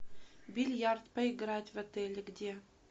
бильярд поиграть в отеле где